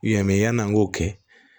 Yan mɛ yan'an k'o kɛ